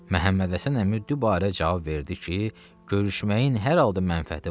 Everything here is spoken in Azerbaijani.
Məhəmməd Həsən əmi bu barədə cavab verdi ki, görüşməyin hər halda mənfəəti var.